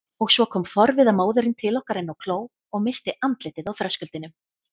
Og svo kom forviða móðirin til okkar inn á kló og missti andlitið á þröskuldinum.